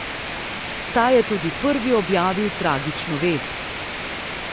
Ta je tudi prvi objavil tragično vest.